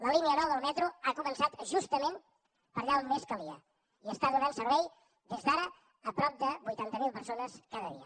la línia nou del metro ha començat justament per allà on més calia i està donant servei des d’ara a prop de vuitanta mil persones cada dia